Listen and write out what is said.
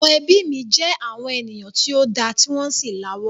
Àwọn ẹbí mi jẹ àwọn ènìyàn tí o da ti wọn sì la'wó.